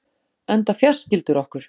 Enda fjarskyldur okkur